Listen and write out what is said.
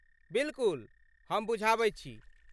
बिलकुल, हम बुझाबैत छी।